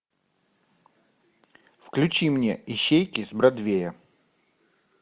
включи мне ищейки с бродвея